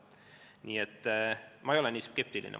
Nii et ma ei ole nii skeptiline.